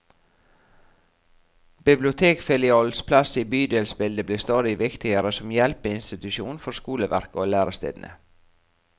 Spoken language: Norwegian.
Bibliotekfilialenes plass i bydelsbildet blir stadig viktigere som hjelpeinsitusjoner for skoleverket og lærestedene.